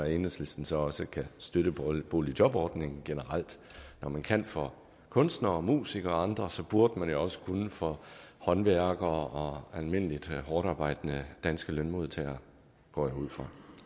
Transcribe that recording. enhedslisten så også kan støtte boligjobordningen generelt når man kan for kunstnere og musikere og andre burde man jo også kunne for håndværkere og almindelige hårdtarbejdende danske lønmodtagere går jeg ud fra